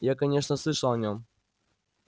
я конечно слышал о нём